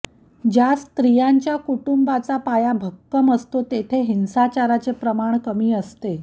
ज्या स्त्रियांचा कुटुंबाचा पाया भक्कम असतो तेथे हिंसाचाराचे प्रमाण कमी असते